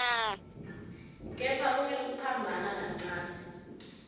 kepha kunekuphambana kancane